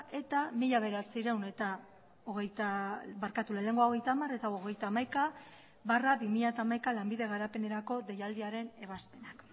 eta mila bederatziehun eta hogeita hamaika barra bi mila hamaika lanbide garapenerako deialdiaren ebazpena